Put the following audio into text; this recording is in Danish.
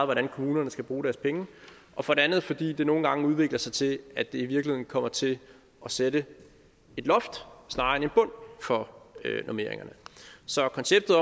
hvordan kommunerne skal bruge deres penge og for det andet fordi det nogle gange udvikler sig til at det i virkeligheden kommer til at sætte et loft snarere end en bund for normeringerne så konceptet